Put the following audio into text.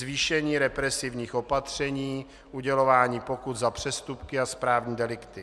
Zvýšení represivních opatření, udělování pokut za přestupky a správní delikty.